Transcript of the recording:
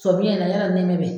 Somiɲɛn in na yɔrɔ nɛmɛ bɛ yen.